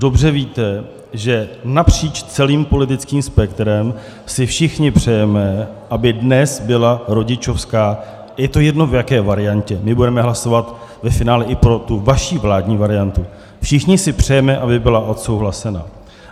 Dobře víte, že napříč celým politickým spektrem si všichni přejeme, aby dnes byla rodičovská, je to jedno, v jaké variantě, my budeme hlasovat ve finále i pro tu vaši vládní variantu, všichni si přejeme, aby byla odsouhlasena.